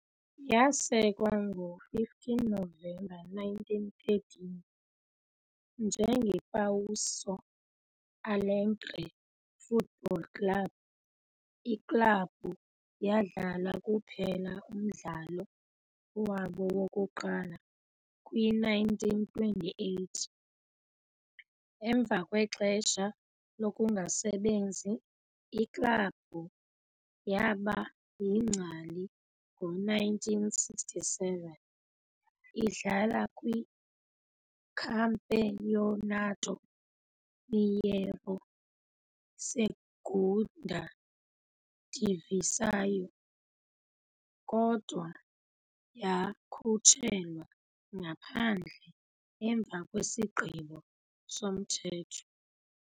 Yasekwa ngo-15 Novemba 1913 "njengePouso Alegre Football Club", iklabhu yadlala kuphela umdlalo wabo wokuqala kwi-1928. Emva kwexesha lokungasebenzi, iklabhu yaba yingcali ngo-1967, idlala kwiCampeonato Mineiro Segunda Divisão kodwa yakhutshelwa ngaphandle emva kwesigqibo somthetho.